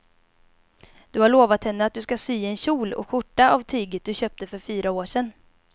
Du har lovat henne att du ska sy en kjol och skjorta av tyget du köpte för fyra år sedan.